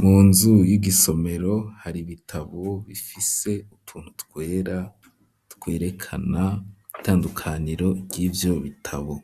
Mu nzu y'igisomero hari ibitabo bifise utuntu twera twerekana itandukaniro ry'ivyo bitabo